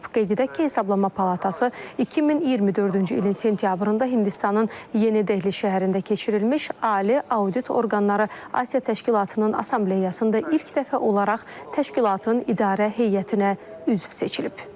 Qeyd edək ki, Hesablama Palatası 2024-cü ilin sentyabrında Hindistanın Yeni Dehli şəhərində keçirilmiş Ali Audit Orqanları Asiya Təşkilatının Assambleyasında ilk dəfə olaraq təşkilatın İdarə Heyətinə üzv seçilib.